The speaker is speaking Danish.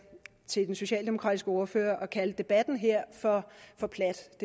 socialdemokratiske ordfører at kalde debatten her for plat